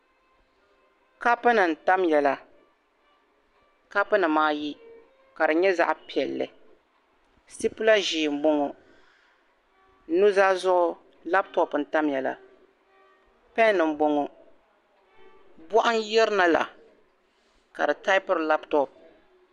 Ka punim n tam ya la kapu nim ayi ka di nyɛ zaɣi piɛli ti pila ʒɛɛ n bɔŋɔ nuzaa zuɣu lap top n tamya la, pen n bɔŋɔ. bɔɣu n yirina la kadi tabpiri laptop.